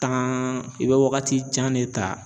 i bɛ wagati jan de ta